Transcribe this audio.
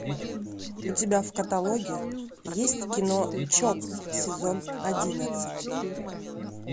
у тебя в каталоге есть кино чоп сезон одиннадцать